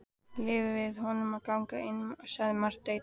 Leyfið honum að ganga einum, sagði Marteinn.